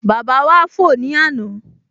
Bàbá wá fò ní àná